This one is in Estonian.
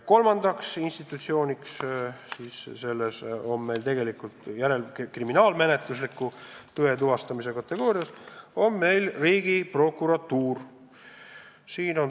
Kolmas institutsioon, kes kuulub kriminaalmenetlusliku tõe tuvastajate kategooriasse, on Riigiprokuratuur.